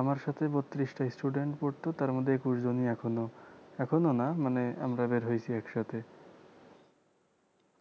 আমার সাথে বত্রিশটা student পড়ত তারমধ্যে একুশ জনই এখন এখন না মানে আমরা বের হয়েছি একসাথে